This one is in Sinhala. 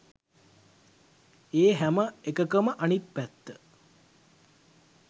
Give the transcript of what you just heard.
ඒ හැම එකකම අනිත් පැත්ත.